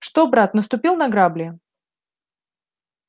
что брат наступил на грабли